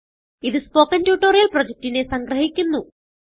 ഇതു spoken tutorial പ്രൊജക്റ്റിനെ സംഗ്രഹിക്കുന്നു